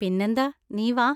പിന്നെന്താ, നീ വാ.